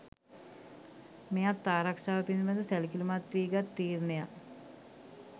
මෙයත් ආරක්‍ෂාව පිළිබඳ සැලකිලිමත් වී ගත් තීරණයක්.